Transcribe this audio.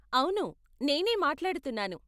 అవును, నేనే మాట్లాడుతున్నాను.